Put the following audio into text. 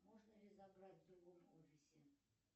можно ли забрать в другом офисе